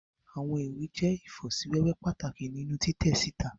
Iwọn iwe jẹ ifosiwewe pataki ninu titẹ sita